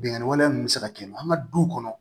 Binnkanni wale ninnu bɛ se ka kɛ an ka du kɔnɔ